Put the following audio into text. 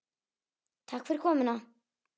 Takk fyrir komuna.